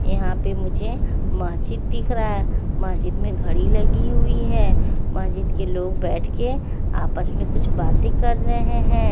यहाँ पे मुझे महजिद दिख रहा है महजिद में घड़ी लगी हुई है महजिद के लोग बेठ के आपस में कुछ बाते कर रहे है।